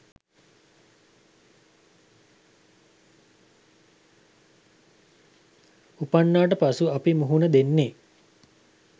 උපන්නාට පසු අපි මුහුණ දෙන්නේ